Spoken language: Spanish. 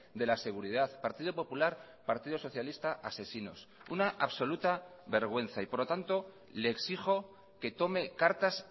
de la seguridad partido popular partido socialista asesinos una absoluta vergüenza y por lo tanto le exijo que tome cartas